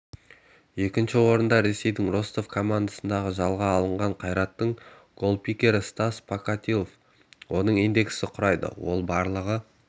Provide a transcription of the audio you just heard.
екінші орында ресейдің ростов командасынан жалға алған қайраттың голкипері стас покатилов оның индексі құрайды ол барлығы